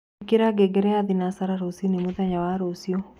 ĩkĩra ngengere ya thĩnacara rũcĩĩnĩ mũthenya wa rũcĩũ